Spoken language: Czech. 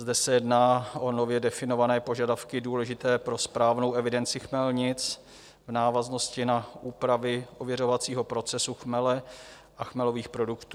Zde se jedná o nově definované požadavky důležité pro správnou evidenci chmelnic v návaznosti na úpravy ověřovacího procesu chmele a chmelových produktů.